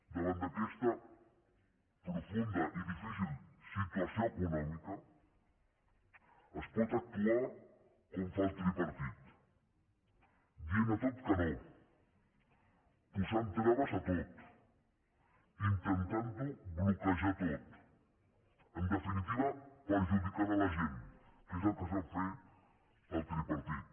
davant d’aquesta profunda i difícil situació econòmica es pot actuar com fa el tripartit dient a tot que no posant traves a tot intentant bloquejar ho tot en definitiva perjudicant la gent que és el que sap fer el tripartit